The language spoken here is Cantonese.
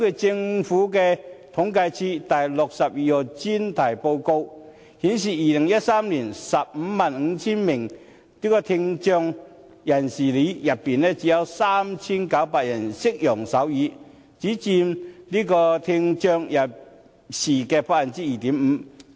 政府統計處《第62號專題報告書》顯示，於2013年，在 155,000 名聽障人士中，只有 3,900 人懂得使用手語，佔聽障人士的 2.5%。